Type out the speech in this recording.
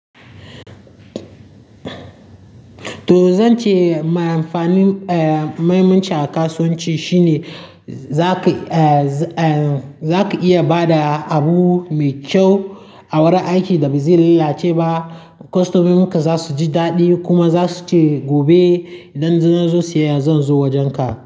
To zan ce, mai amfanin a mahimmanci kasuwanci shine za ka iya ba da abu mai kyau a wurin aiki da ba zai lallace ba. Kostomominka za su ji daɗi kuma za su ce gobe. Idan na zo siyayya, zan zo wojenka.